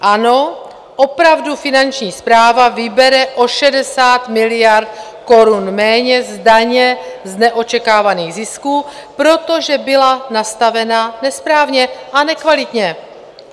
Ano, opravdu Finanční správa vybere o 60 miliard korun méně z daně z neočekávaných zisků, protože byla nastavena nesprávně a nekvalitně.